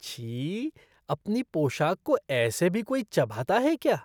छी! अपनी पोशाक को ऐसे भी कोई चबाता है क्या!!